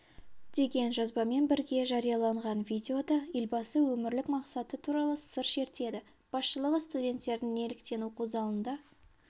деген жазбамен бірге жарияланған видеода елбасы өмірлік мақсаты туралы сыр шертеді басшылығы студенттердің неліктен оқу залында